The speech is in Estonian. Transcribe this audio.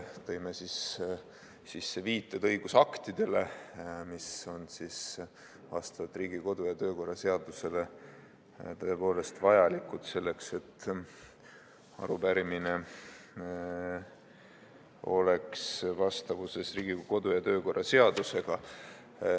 Tõime sisse viited õigusaktidele, mis on Riigikogu kodu- ja töökorra seaduse järgi tõepoolest vajalikud selleks, et arupärimine oleks vastavuses Riigikogu kodu- ja töökorra seadusega.